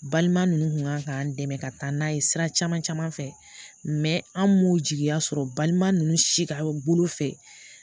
Balima ninnu kun kan k'an dɛmɛ ka taa n'a ye sira caman caman fɛ mɛ an m'u jigiya sɔrɔ balima ninnu si ka bolo fɛ